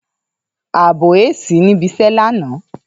Ààbò àìsí níbi iṣẹ́ lánàá